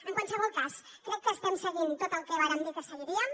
en qualsevol cas crec que estem seguint tot el que vàrem dir que seguiríem